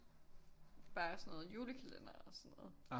Bare sådan noget julekalender og sådan noget